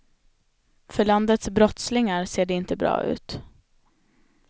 För landets brottslingar ser det inte bra ut.